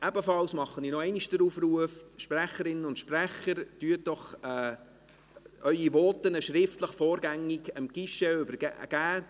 Ebenfalls mache ich nochmals den Aufruf: Sprecherinnen und Sprecher, übergeben Sie Ihre Voten doch vorgängig schriftlich.